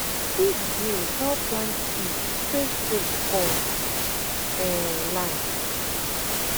seed drill help plant seed straightstraight for um land